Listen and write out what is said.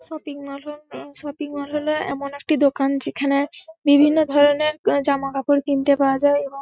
shopping mall হ-অ-ল shopping mall হল এমন একটি দোকান যেখানে বিভিন্ন ধরণের কা জামাকাপড় কিনতে পাওয়া যায় এবং--